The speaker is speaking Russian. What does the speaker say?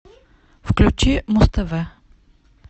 включи муз тв